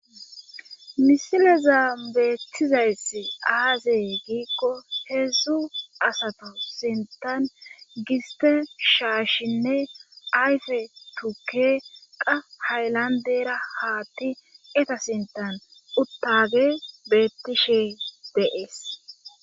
Misile zaambeethizayss aazee giikko heedzdzu asato sintan gisten shaashinne ayfe tukke qa haylandera haatti eta sintan uttage bettishe deees.